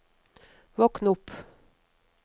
våkn opp